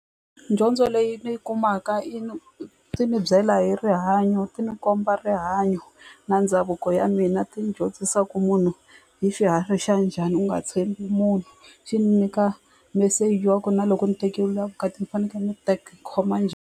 Dyondzo leyi ni yi kumaka yi ni ti ni byela hi rihanyo ti ni komba rihanyo na ndhavuko ya mina ti ni dyondzisa ku munhu i xiharhi xa njhani u nga tshembi munhu xi ni nyika message wa ku na loko ni tekeliwa vukati ni fanekele ni khoma .